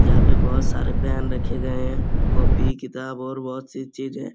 जहाँ पर बहोत सारे पेन रखे गए हैं। कॉपी किताब और बहोत सी चीजें।